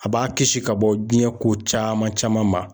A b'a kisi ka bɔ diɲɛ ko caman caman ma.